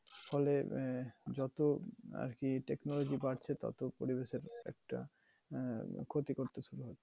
ফলে আহ যত আরকি technology বাড়ছে, তত পরিবেশের একটা আহ ক্ষতি করতেছে আরকি।